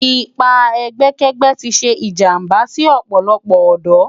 Ipá ègbèkègbè ti sé ijàmbá si òpòlòpò òdò